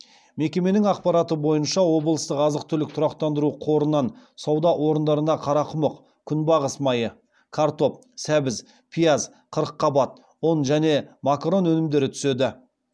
мекеменің ақпараты бойынша облыстық азық түлік тұрақтандыру қорынан сауда орындарына қарақұмық күнбағыс майы картоп сәбіз пияз қырыққабат ұн және макарон өнімдері түседі